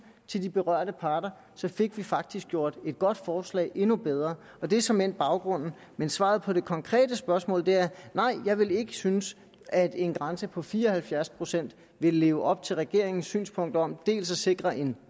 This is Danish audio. til de berørte parter og så fik vi faktisk gjort et godt forslag endnu bedre og det er såmænd baggrunden men svaret på det konkrete spørgsmål er nej jeg vil ikke synes at en grænse på fire og halvfjerds procent vil leve op til regeringens synspunkt om dels at sikre en